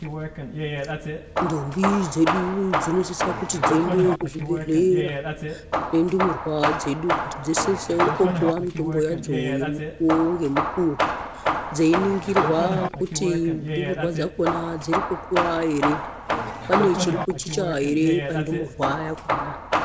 Ndombi dzedu dzinosisa kuti dzeiende kuzvibhedhlera nendumurwa dzedu kuti dzisisewo kopiwa mitombo yadzo yemukuwo ngemukuwo, dzeiningirwa kuti ndumurwa dzakhona dziri kukura ere. Pane chirikuchicha ere pandumurwa yakhona.